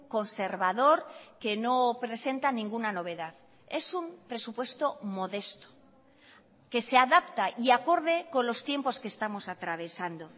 conservador que no presenta ninguna novedad es un presupuesto modesto que se adapta y acorde con los tiempos que estamos atravesando